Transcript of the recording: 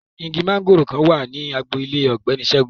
Igi mangoro kan wa ni agbo ile ọgbẹni Segun